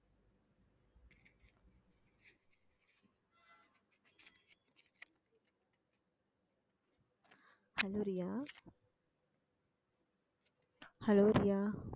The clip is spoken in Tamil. hello Riya hello Riya